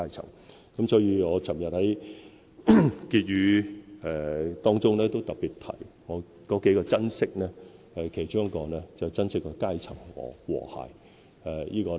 所以，昨天我在施政報告結語中，特別提到數個珍惜，其中一個便是珍惜階層和諧。